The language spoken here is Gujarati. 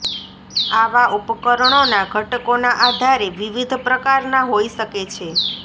આવા ઉપકરણોનાં ઘટકોના આધારે વિવિધ પ્રકારના હોઈ શકે છે